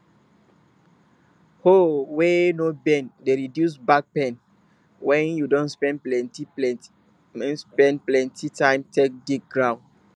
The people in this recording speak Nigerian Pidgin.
hoe wey no bend de reduce back pain wen you don spend plenty spend plenty time take dig ground